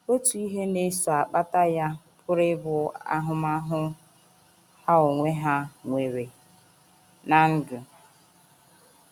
Otu ihe na - eso akpata ya pụrụ ịbụ ahụmahụ ha onwe ha nwere ná ndụ.